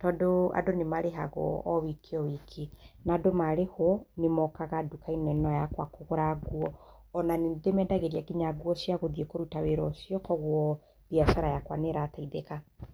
tondũ, andũ nĩ marĩhagwo o wiki o wiki, na andũ maarĩhwo, nĩ mookaga nduka-inĩ ĩno yakwa kũgũra nguo. O na nĩ ndĩmeendagĩria nginya nguo cia gũthiĩ kũruta wĩra ũcio. Kwoguo, mbiacara yakwa nĩ ĩrateithĩka.